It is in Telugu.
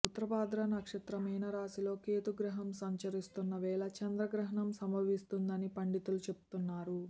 ఉత్తరాభాద్ర నక్షత్ర మీనరాశిలో కేతు గ్రహం సంచరిస్తున్న వేళ చంద్రగ్రహణం సంభవిస్తుందని పండితులు చెబుతున్నారు